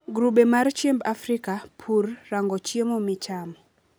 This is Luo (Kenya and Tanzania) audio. grube mar chiemb africa , pur, rango chiemo michamo